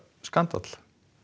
skandall